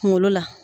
Kunkolo la